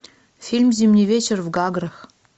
фильм зимний вечер в гаграх